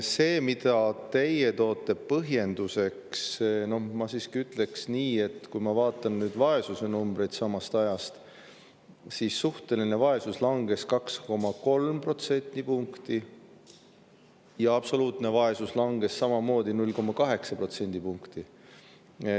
Selle kohta, mida teie toote põhjenduseks, ma siiski ütleks, et kui ma vaatan vaesusenumbreid samast ajast, siis näen, et suhteline vaesus langes 2,3 protsendipunkti ja absoluutne vaesus langes samamoodi, 0,8 protsendipunkti.